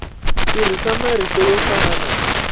tirhisa marito yo fana na